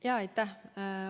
Aitäh!